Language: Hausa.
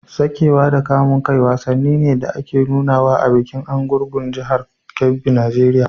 Saƙewa da kamun kifi wasanni ne da ake nunawa a bikin Argungu a jihar Kebbi Nijeriya.